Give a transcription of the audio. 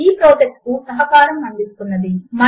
ఈ ప్రాజెక్ట్ కు సహకారము అందిస్తున్నది